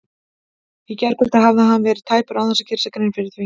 Í gærkvöld hafði hann verið tæpur án þess að gera sér grein fyrir því.